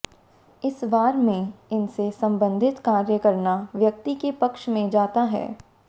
इस वार में इनसे सम्बन्धित कार्य करना व्यक्ति के पक्ष में जाता है